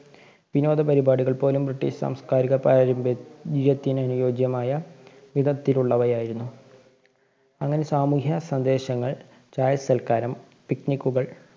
വിനോദ പരിപാടികള്‍ പോലും ബ്രിട്ടിഷ് സാംസ്കാരിക പാരമ്പര്യ~ത്തിനനുയോജ്യമായ വിധത്തിലുള്ളവയായിരുന്നു. അങ്ങനെ സാമൂഹ്യ സന്ദേശങ്ങള്‍, ചായ സല്‍ക്കാരം, picnic കള്‍